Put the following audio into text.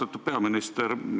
Austatud peaminister!